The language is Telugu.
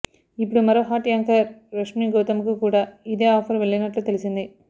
ఇప్పుడు మరో హాట్ యాంకర్ రష్మీగౌతమ్కు కూడా ఇదే ఆఫర్ వెళ్లినట్లు తెలిసింది